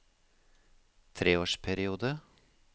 treårsperiode